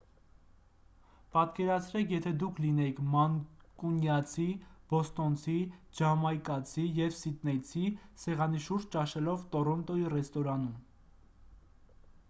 պատկերացրեք եթե դուք լինեիք մանկունյացի բոստոնցի ջամայկացի և սիդնեյցի սեղանի շուրջ ճաշելով տորոնտոյի ռեստորանում